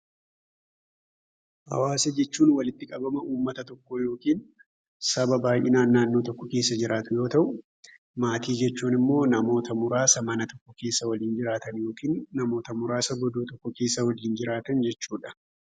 Hawaasa jechuun walitti qabama uumataa tokko yookiin saba baay'inaan naannoo tokko keessa jiraatu yoo ta'u, maatii jechuun immoo namoota muurasaa mana tokko keessa waliin jiraatan yookiin namoota muurasaa goddoo tokko keessa wajjiin jiraatan jechuudha.